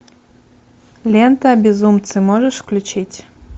лента безумцы можешь включить